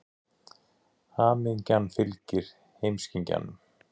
Hamingjan fylgir heimskingjanum.